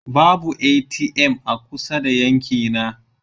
Babu ATM a kusa da yankina.